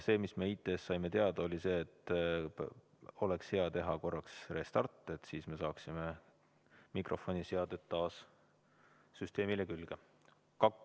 Me saime IT‑st teada, et oleks hea teha korraks restart, siis me saaksime mikrofoni seaded taas süsteemile külge.